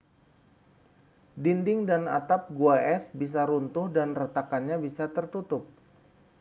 dinding dan atap gua es bisa runtuh dan retakannya bisa tertutup